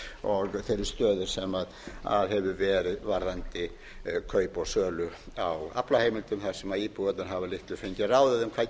þeirri stöðu sem hefur verið varðandi kaup og sölu á aflaheimildum þar sem íbúarnir hafa litlu fengið